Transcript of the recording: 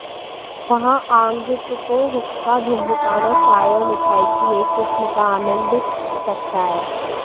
वहाँ आगंतुकों हुक्का धूम्रपान और चाय और मिठाई की एक किस्म का आनंद सकता है